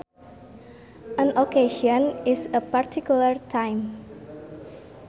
An occasion is a particular time